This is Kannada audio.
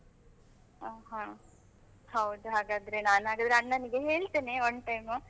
ಹಾ ಹಾ. ಹೌದು ಹಾಗಾದ್ರೆ ನಾನು ಹಾಗಾದ್ರೆ ಅಣ್ಣನಿಗೆ ಹೇಳ್ತೇನೆ, one time ಉ.